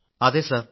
അതെ സർ